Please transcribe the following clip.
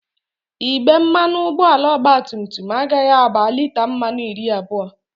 Igbe mmanụ ụgbọala ọgbatumtum agaghị aba lita mmanụ iri abụọ